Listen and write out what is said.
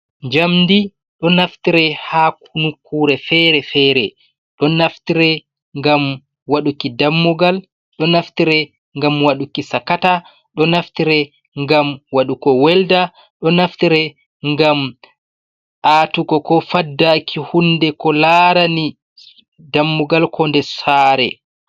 Jamdi ɗo naftire ha nukkure fere-fere. Geɗo naftire ngam waɗuki dammugal, do naftire ngam waɗuki sakata, do naftire ngam waɗuko welda, do naftire ngam aatugo ko faddaki lllllllllllll ko larani dammugal ko nde sare